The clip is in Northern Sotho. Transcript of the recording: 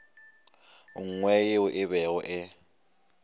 nngwe yeo e bego e